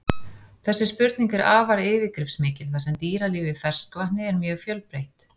Þessi spurning er afar yfirgripsmikil þar sem dýralíf í ferskvatni er mjög fjölbreytt.